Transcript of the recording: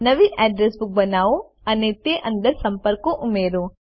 નવી address book બનાવો અને તે અંદર સંપર્કો ઉમેરો